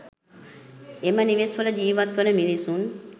එම නිවෙස් වල ජිවත් වන මිනිසුන්